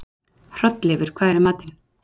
Hrolleifur, hvað er í matinn?